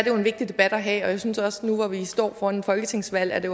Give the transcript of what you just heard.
jo en vigtig debat at have og jeg synes også at nu hvor vi står foran et folketingsvalg er det